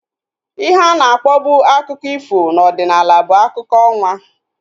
Ihe ana akpọbu akụkọ ifo na ọdịnala bụ akụkọ ọnwa